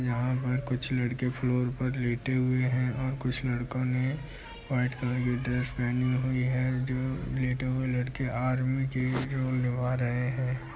यहाँ पर कुछ लड़के फ्लोर पर लेटे हुए हैं और कुछ लड़को ने वाइट कलर की ड्रेस पहनी हुई है जो लेटे हुए लड़के आर्मी के --